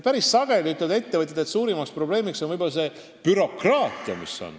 Ettevõtjad ütlevad päris sageli, et suurim probleem on bürokraatia.